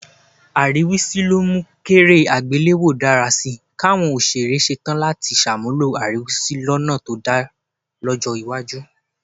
Àríwísí ló mú kéré àgbéléwò dára sí í, káwọn òṣèré ṣe tán láti ṣàmúlò àríwísí lọ́nà tó dà lọ́jọ́ iwájú